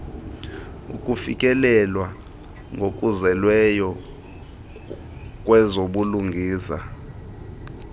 ukufikelelwa ngokuzeleyo kwezobulungisa